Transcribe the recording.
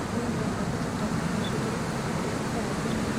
Daawadani waxay ka shaqeysaa hoos u dhigista habka difaaca jirka.